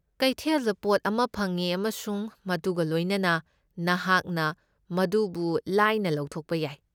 ꯀꯩꯊꯦꯜꯗ ꯄꯣꯠ ꯑꯃ ꯐꯪꯏ, ꯑꯃꯁꯨꯡ ꯃꯗꯨꯒ ꯂꯣꯏꯅꯅ ꯅꯍꯥꯛꯅ ꯃꯗꯨꯕꯨ ꯂꯥꯏꯅ ꯂꯧꯊꯣꯛꯄ ꯌꯥꯏ꯫